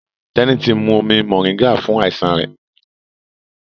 Teni tí mú omí moringa fún àìsàn rẹ.